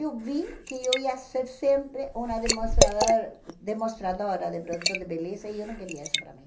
Eu vi que eu ia ser sempre uma demonstradora demonstradora de produtos de beleza e eu não queria isso para mim.